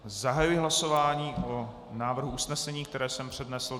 Zahajuji hlasování o návrhu usnesení, které jsem přednesl.